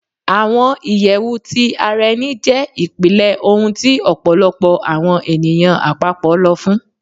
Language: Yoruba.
Awọn iyẹwu ti ara ẹni jẹ ipilẹ ohun ti ọpọlọpọ awọn eniyan apapọ lọ fun